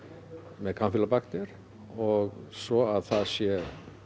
með kampýlóbakter og svo að það sé